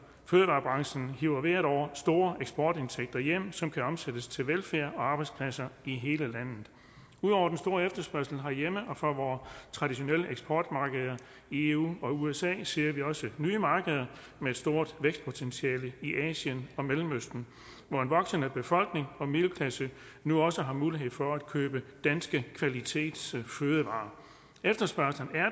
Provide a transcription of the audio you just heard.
fødevarebranchen hiver hvert år store eksportindtægter hjem som kan omsættes til velfærd og arbejdspladser i hele landet ud over den store efterspørgsel herhjemme og fra vores traditionelle eksportmarkeder i eu og usa ser vi også nye markeder med stort vækstpotentiale i asien og mellemøsten hvor en voksende befolkning og middelklasse nu også har mulighed for at købe danske kvalitetsfødevarer efterspørgslen